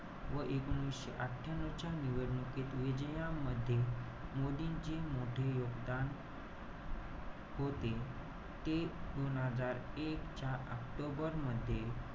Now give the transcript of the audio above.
व एकोणीशे अठ्ठयांन्यव च्या निवडणुकीत विजयामध्ये, मोदींची मोठे योगदान होते. ते दोन हजार एक च्या ऑक्टोबर मध्ये,